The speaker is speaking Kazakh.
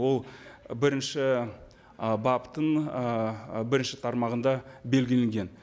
ол бірінші ы баптың ы бірінші тармағында белгіленген